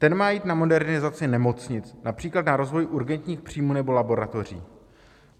Ten má jít na modernizaci nemocnic, například na rozvoj urgentních příjmů nebo laboratoří.